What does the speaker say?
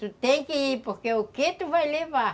Tu tem que ir, porque o quê tu vai levar?